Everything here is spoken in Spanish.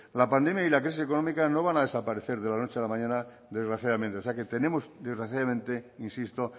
la pandemia y la crisis económica no van a desaparecer de la noche a la mañana desgraciadamente o sea que tenemos desgraciadamente insisto